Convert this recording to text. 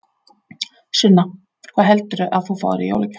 Sunna: Hvað heldurðu að þú fáir í jólagjöf?